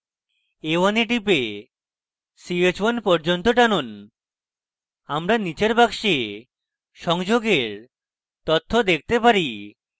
a1 we টিপে ch1 পর্যন্ত টানুন আমরা নীচের box সংযোগের তথ্য দেখতে পারি